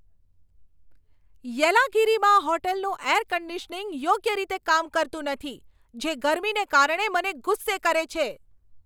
યેલાગિરીમાં હોટલનું air conditioning યોગ્ય રીતે કામ કરતું નથી, જે ગરમીને કારણે મને ગુસ્સે કરે છે.